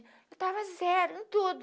Eu estava zero em tudo.